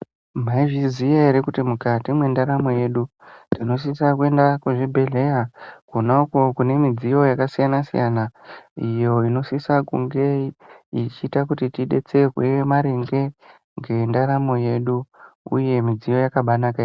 Mwaizviziya ere kuti mukati mwendaramo yedu, tinosisa kuenda kuzvibhedhleya, kwona uko kune midziyo yakasiyana-siyana ,iyo inosisa kunge, ichiita kuti tidetserwe ,maringe ngendaramo yedu, uye midziyo yakabaanaka yambo.